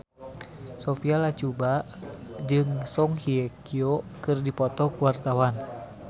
Sophia Latjuba jeung Song Hye Kyo keur dipoto ku wartawan